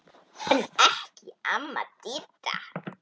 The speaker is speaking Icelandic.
En ekki amma Didda.